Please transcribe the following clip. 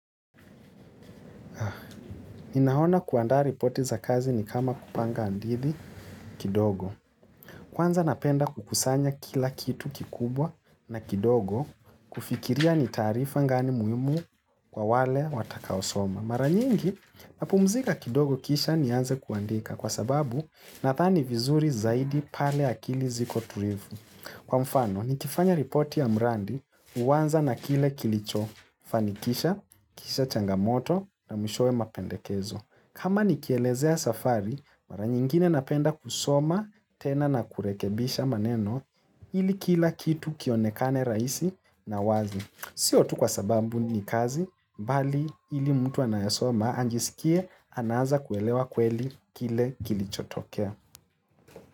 Ninaona kuandaa ripoti za kazi ni kama kupanga hadithi kidogo. Kwanza napenda kukusanya kila kitu kikubwa na kidogo kufikiria ni taarifa gani muhimu kwa wale watakao soma. Mara nyingi, napumzika kidogo kisha nianze kuandika kwa sababu nathani vizuri zaidi pale akili ziko tulivu. Kwa mfano, nikifanya ripoti ya mradi huanza na kile kilicho, fanikisha, kisha changamoto na mishowe mapendekezo. Kama nikielezea safari, mara nyingine napenda kusoma tena na kurekebisha maneno ili kila kitu kionekane raihisi na wazi. Sio tu kwa sababu ni kazi, bali ili mtu anayesoma ajisikie anaanza kuelewa kweli kile kilichotokea.